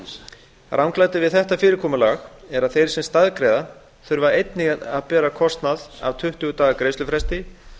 ranglætið við þetta fyrirkomulag er að þeir sem staðgreiða þurfa einnig að bera kostnað af tuttugu daga greiðslufresti